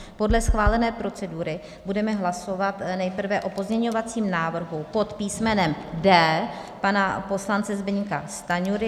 Podle schválené procedury budeme hlasovat nejprve o pozměňovacím návrhu pod písmenem D pana poslance Zbyňka Stanjury.